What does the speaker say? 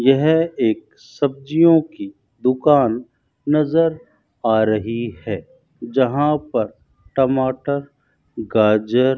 यह एक सब्जियों की दुकान नजर आ रही है जहां पर टमाटर गाजर --